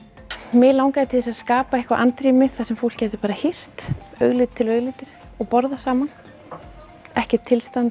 mig langaði til að skapa eitthvað andrými þar sem fólk gæti hist augliti til auglitis og borðað saman ekkert tilstand